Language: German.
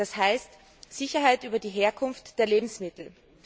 Das heißt Sicherheit über die Herkunft der Lebensmittel.